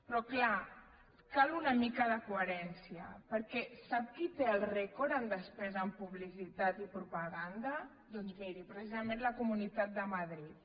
però clar cal una mica de coherència perquè sap qui té el rècord en despesa en publicitat i propaganda doncs miri precisament la comunitat de madrid